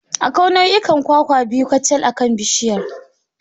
Akwai nau'in kwakwa biyu kacal akan bishiyar.